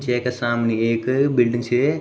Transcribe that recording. जैका सामने एक बिल्डिंग छ।